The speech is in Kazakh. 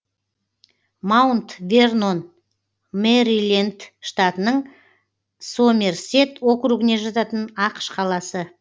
маунт вернон мэриленд штатының сомерсет округіне жататын ақш қаласы